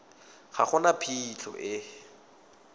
ga go na phitlho e